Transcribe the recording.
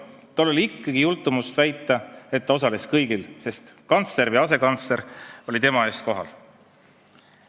Tal oli ikkagi jultumust väita, et ta osales kõigil istungitel, sest kantsler või asekantsler oli tema eest kohal.